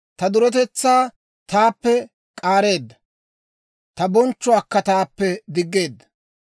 Ta duretetsaa taappe k'aareedda; ta bonchchuwaakka taappe diggeedda.